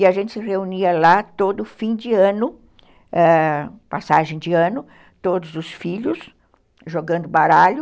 E a gente se reunia lá todo fim de ano, passagem de ano, ãh, todos os filhos jogando baralho.